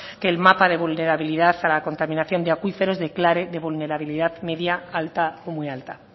que el mapa de vulnerabilidad a la contaminación de acuíferos declare de vulnerabilidad media alta o muy alta